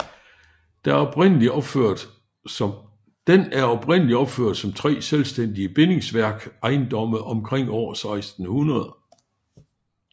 Den er oprindeligt opført som 3 selvstændige bindingsværk ejendomme omkring år 1600